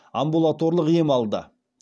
амбулаторлық ем алды